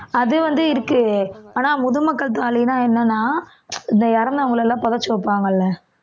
அது வந்து இருக்கு ஆனா முதுமக்கள் தாழின்னா என்னன்னா இந்த இறந்தவங்களை எல்லாம் புதைச்சு வைப்பாங்க இல்லை